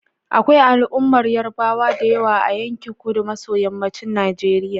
Akwai al'ummar Yarbawa da yawa a yankin kudu maso yammacin Najeriya.